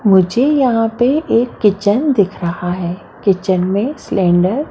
मुझे यहा पर एक किचन दिख रहा है किचन में सिलिन्डर --